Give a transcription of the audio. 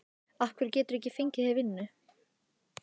Af hverju geturðu ekki fengið þér vinnu?